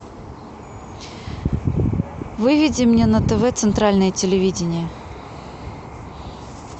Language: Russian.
выведи мне на тв центральное телевидение